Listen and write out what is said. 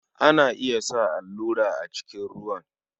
Ana iya sa allurai a cikin ruwan.